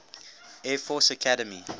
air force academy